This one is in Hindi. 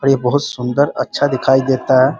और ये बहुत सुंदर अच्छा दिखाई देता है।